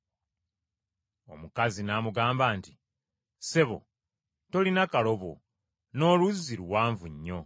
Omukazi n’amugamba nti, “Ssebo, tolina kalobo, n’oluzzi luwanvu nnyo.